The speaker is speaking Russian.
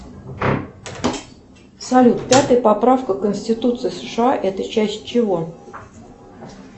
салют пятая поправка конституции сша это часть чего